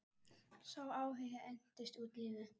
Sá áhugi entist út lífið.